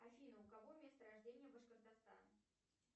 афина у кого место рождения башкортостан